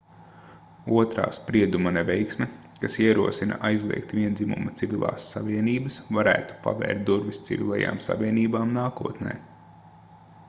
otrā sprieduma neveiksme kas ierosina aizliegt viendzimuma civilās savienības varētu pavērt durvis civilajām savienībām nākotnē